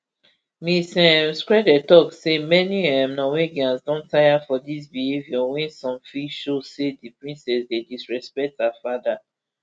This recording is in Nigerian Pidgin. ms um skrede tok say many um norwegians don tire for dis behaviour wey some feel show say di princess dey disrespects her father